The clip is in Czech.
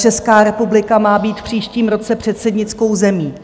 Česká republika má být v příštím roce předsednickou zemí.